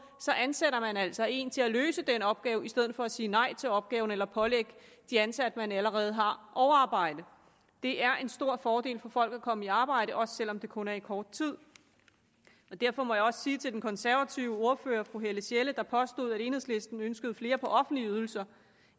ansætter man altså en til at løse den opgave i stedet for at sige nej til opgaven eller at pålægge de ansatte man allerede har overarbejde det er en stor fordel for folk at komme i arbejde også selv om det kun er i kort tid derfor må jeg også sige til den konservative ordfører fru helle sjelle der påstod at enhedslisten ønsker flere på offentlige ydelser